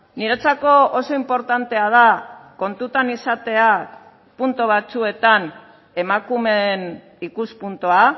niretzako oso inportantea da kontutan izatea puntu batzuetan emakumeen ikuspuntua